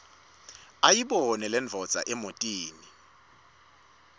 ayibone lendvodza emotini